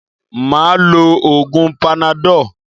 Máà lo oògun panadọ́ọ̀